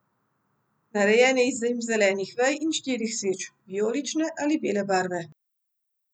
Narejen je iz zimzelenih vej in štirih sveč, vijolične ali bele barve.